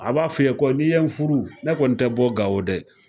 A b'a f'i ye ko n'i ye n furu, ne kɔni tɛ bɔ Gawo dɛ